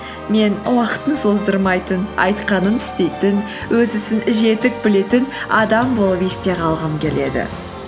мен уақытын создырмайтын айтқанын істейтін өз ісін жетік білетін адам болып есте қалғым келеді